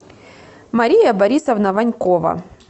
мария борисовна ванькова